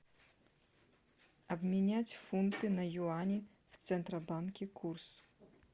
обменять фунты на юани в центробанке курс